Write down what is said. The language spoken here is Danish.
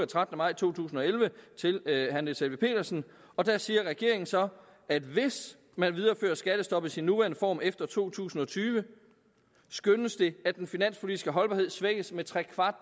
trettende maj to tusind og elleve til herre niels helveg petersen og der siger regeringen så at hvis man viderefører skattestoppet i sin nuværende form efter to tusind og tyve skønnes det at den finanspolitiske holdbarhed svækkes med tre